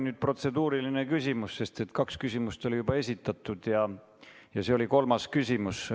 See oli protseduuriline küsimus, sest kaks küsimust juba oli esitatud ja see oli kolmas küsimus.